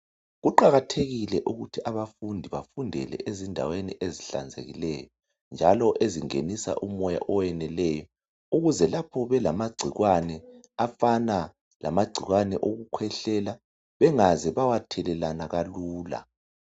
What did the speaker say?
Kuqakathekile ukuthi abafundi bafundele ezindaweni ezihlanzekileyo njalo ezingenisa umoya oweneleyo ukuze lapho belamagcikwane afana lamagcikwane okukhwehlela bengaze bawathelelana kalula.